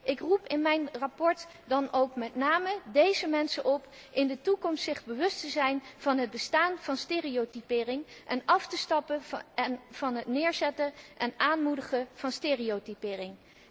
Ik roep in mijn verslag dan ook met name deze mensen op zich in de toekomst bewust te zijn van het bestaan van stereotypering en af te stappen van het neerzetten en aanmoedigen van stereotypering.